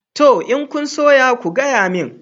Toh. In kun soya ku gayamin